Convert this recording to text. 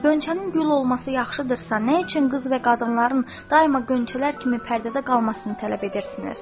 Qönçənin gül olması yaxşıdırsa nə üçün qız və qadınların daima qönçələr kimi pərdədə qalmasını tələb edirsiniz?